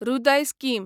हृदय स्कीम